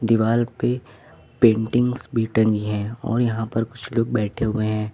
दीवाल पे पेंटिंग्स भी टंगी है और यहां पर कुछ लोग बैठे हुए हैं।